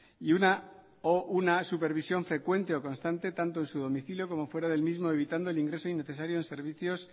y una o una supervisión frecuente o constante tanto en su domicilio como fuera del mismo evitando el ingreso innecesario en servicios